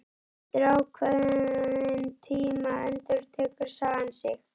Eftir ákveðinn tíma endurtekur sagan sig.